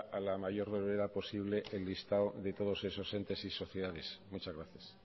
a la mayor brevedad posible el listado de todos esos entes y sociales muchas gracias